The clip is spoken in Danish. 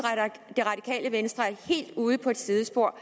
det radikale venstre er helt ude på et sidespor